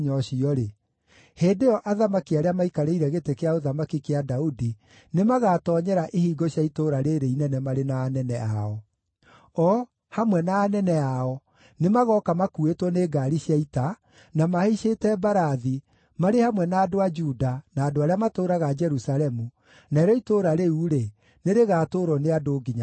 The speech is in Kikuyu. hĩndĩ ĩyo athamaki arĩa maikarĩire gĩtĩ kĩa ũthamaki kĩa Daudi nĩmagatoonyera ihingo cia itũũra rĩĩrĩ inene marĩ na anene ao. O, hamwe na anene ao, nĩmagooka makuuĩtwo nĩ ngaari cia ita, na mahaicĩte mbarathi, marĩ hamwe na andũ a Juda, na andũ arĩa matũũraga Jerusalemu, narĩo itũũra rĩu-rĩ, nĩrĩgatũũrwo nĩ andũ nginya tene.